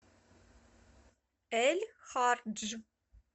эль хардж